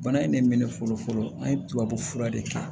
Bana in ne mɛn fɔlɔ fɔlɔ an ye tubabu fura de kɛ